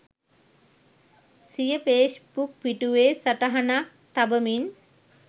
සිය ෆේස්බුක් පිටුවේ සටහනක් තබමින්